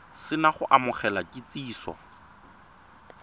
se na go amogela kitsiso